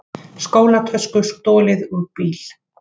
Skólatösku stolið úr bíl